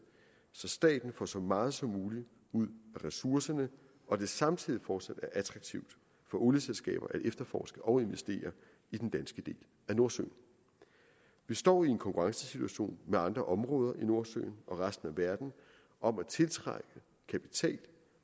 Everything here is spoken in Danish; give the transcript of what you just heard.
så staten får så meget som muligt ud af ressourcerne og det samtidig fortsat er attraktivt for olieselskaber at efterforske og investere i den danske del af nordsøen vi står i en konkurrencesituation med andre områder i nordsøen og resten af verden om at tiltrække kapital